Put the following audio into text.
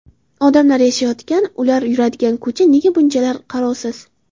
Odamlar yashayotgan, ular yuradigan ko‘cha nega bunchalar qarovsiz?